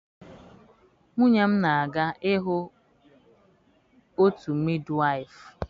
Nwunye m na-aga ịhụ otu midwaịfụ.